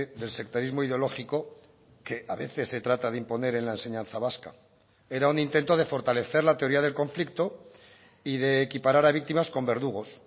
del sectarismo ideológico que a veces se trata de imponer en la enseñanza vasca era un intento de fortalecer la teoría del conflicto y de equiparar a víctimas con verdugos